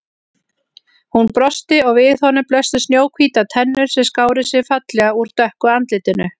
Hún brosti og við honum blöstu snjóhvítar tennur sem skáru sig fallega úr dökku andlitinu.